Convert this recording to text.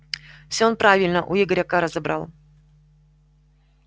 всё он правильно у игоря кара забрал